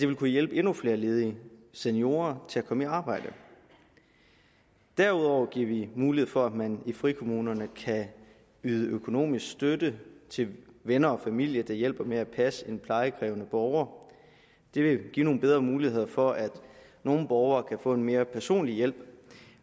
vil kunne hjælpe endnu flere ledige seniorer til at komme i arbejde derudover giver vi mulighed for at man i frikommunerne kan yde økonomisk støtte til venner og familie der hjælper med at passe en plejekrævende borger det vil give nogle bedre muligheder for at nogle borgere kan få en mere personlig hjælp